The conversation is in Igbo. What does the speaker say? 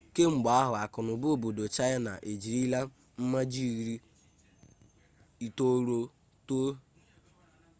kemgbe ahụ akụnụba obodo chaịna ejirila mmaji iri itolu too